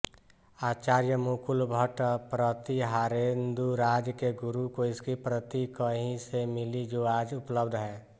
आचार्य मुकुलभट्ट प्रतिहारेन्दुराज के गुरु को इसकी प्रति कहीं से मिली जो आज उपलब्ध है